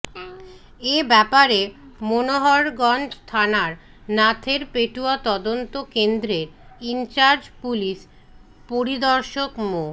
এ ব্যাপারে মনোহরগঞ্জ থানার নাথেরপেটুয়া তদন্ত কেন্দ্রের ইনচার্জ পুলিশ পরিদর্শক মো